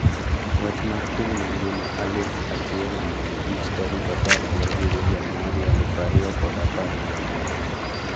Wach mar piny mangima aluf achielmia abich tarik apar gi abairio januari aluf ariyo kod apar gi aboro